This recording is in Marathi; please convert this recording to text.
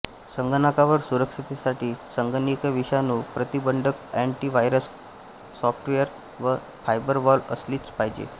संगणकावर सुरक्षेसाठी संगणकी़य विषाणू प्रतिबंधकअँटि व्हायरस स्पायवेअर व फायरवॉल असलीच पाहिजे